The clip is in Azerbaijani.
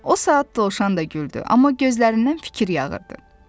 O saat dovşan da güldü, amma gözlərindən fikir yağırdı.